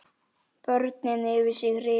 Börnin yfir sig hrifin.